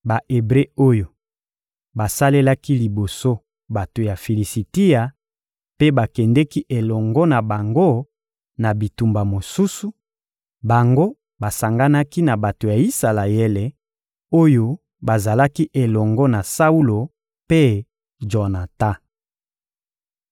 Ba-Ebre oyo basalelaki liboso bato ya Filisitia mpe bakendeki elongo na bango na bitumba mosusu, bango basanganaki na bato ya Isalaele, oyo bazalaki elongo na Saulo mpe Jonatan.